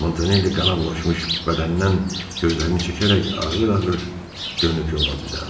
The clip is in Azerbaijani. Montanelli qana bulaşmış bədəndən gözlərini çəkərək ağır-ağır dönüb yola düzəldi.